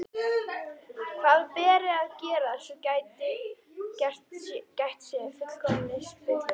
Hvað beri að gera, svo gætt sé fullkomins hlutleysis?